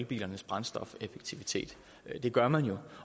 bilernes brændstofseffektivitet det gør man jo